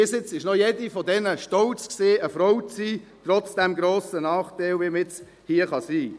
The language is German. Bis jetzt war noch jede von ihnen stolz, eine Frau zu sein, trotz dem grossen Nachteil, den man haben kann.